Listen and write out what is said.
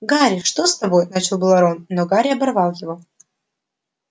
гарри что с тобой начал было рон но гарри оборвал его